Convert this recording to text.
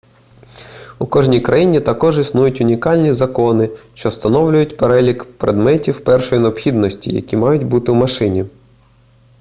у кожній країні також існують унікальні закони що встановлюють перелік предметів першої необхідності які мають бути у машині